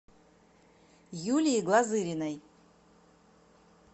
юлии глазыриной